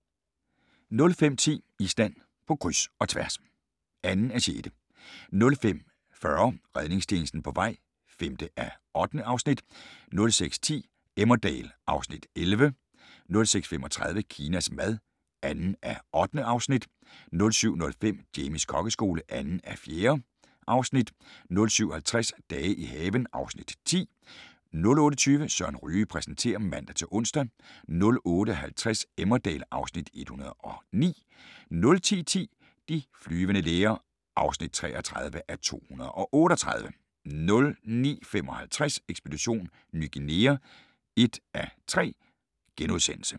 05:10: Island på kryds – og tværs (2:6) 05:40: Redningstjenesten på vej (5:8) 06:10: Emmerdale (Afs. 11) 06:35: Kinas mad (2:8) 07:05: Jamies kokkeskole (2:4) 07:50: Dage i haven (Afs. 10) 08:20: Søren Ryge præsenterer (man-ons) 08:50: Emmerdale (Afs. 109) 09:10: De flyvende læger (33:238) 09:55: Ekspedition Ny Guinea (1:3)*